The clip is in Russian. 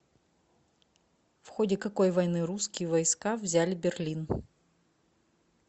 в ходе какой войны русские войска взяли берлин